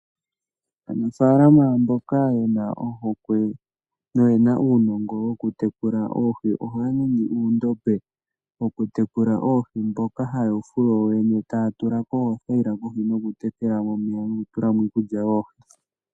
Aanafalama mboka yena ohokwe noyena uunongo woku tekula oohi, ohaya ningi uundombe, wokutekula oohi mboka haye wufulu woyene tatulamo othayila kohi nokutekelamo omeya nokutulamo iikulya yoohi.